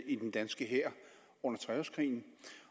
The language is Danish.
i den danske hær under treårskrigen